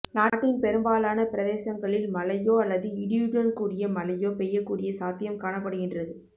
நாட்டின் பெரும்பாலான பிரதேசங்களில் மழையோ அல்லது இடியுடன் கூடிய மழையோ பெய்யக் கூடிய சாத்தியம் காணப்படுகின்றது